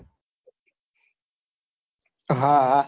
હા હા